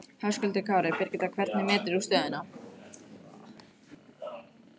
Höskuldur Kári: Birgitta, hvernig metur þú stöðuna?